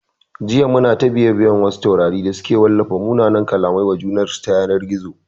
Jiya muna ta bibiyan wasu taurari da suke ta wallafa munanan kallamai wa junansu ta yanar gizo